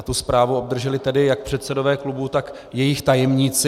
A tu zprávu obdrželi tedy jak předsedové klubů, tak jejich tajemníci.